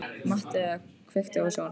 Mattea, kveiktu á sjónvarpinu.